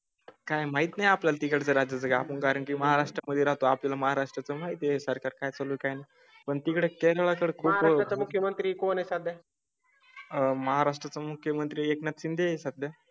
काय माहित नाही आपल्या ला तिकडे रस्ता आपण कारण की महाराष्ट्रा मध्ये राहतो. आपल्या महाराष्ट्रा चं आहे सर काय चालू काय पण तिकडे काळात. मुख्यमंत्री कोण सध्या? महाराष्ट्रा चा मुख्यमंत्री एकनाथ शिंदे हे सध्या.